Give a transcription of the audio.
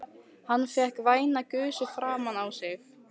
Hann fékk væna gusu framan á sig.